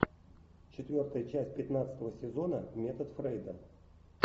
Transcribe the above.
четвертая часть пятнадцатого сезона метод фрейда